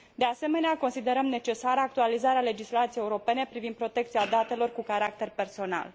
De asemenea, considerăm necesară actualizarea legislației europene privind protecția datelor cu caracter personal.